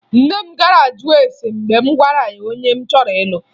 Nne m gara jụọ ese mgbe m gwara ya onye m chọrọ ịlụ